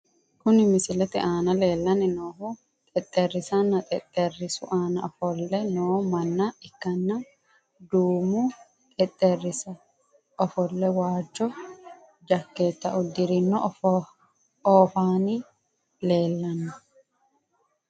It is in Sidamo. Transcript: Kuni misilete aana lellanni noohu xexxerisanna xexxerisu aana ofo'le noo manna ikkanna, duumu xexxerisira ofo'le waajjo jakkeetta uddirinohu oofanni leellanno.